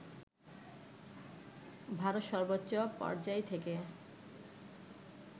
ভারত সর্বোচ্চ পর্যায় থেকে